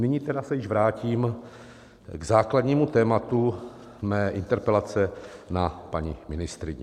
Nyní tedy se již vrátím k základnímu tématu své interpelace na paní ministryni.